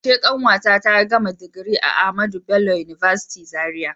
A karshe kanwata ta gama digiri a AHMADU BELLO UNIVERSITY Zaria.